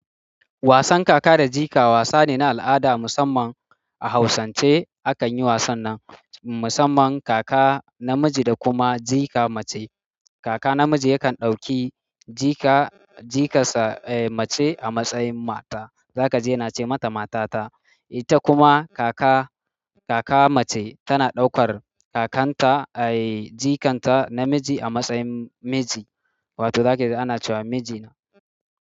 Wasan kaka da jika wasa ne na al'ada musamman a hausance a kan yi wasan nan musamman kaka namiji da kuma jika mace. Kaka namiji yakan ɗauki jika, jikarsa eh mace a matsayin mata, za ka je na ce mata matata. Ita kuma kaka, kaka mace tana ɗaukar kakanta eh jikanta namiji a matsayin miji, wato za ka ji ana cewa mijina.